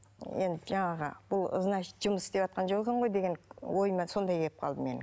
енді жаңағы бұл значит жұмыс істеватқан жоқ екен ғой деген ойыма сондай келіп қалды менің